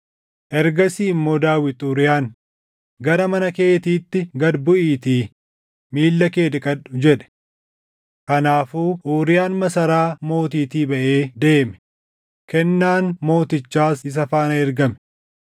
Ergasii immoo Daawit Uuriyaan, “Gara mana keetiitti gad buʼiitii miilla kee dhiqadhu” jedhe. Kanaafuu Uuriyaan masaraa mootiitii baʼee deeme; kennaan mootichaas isa faana ergame.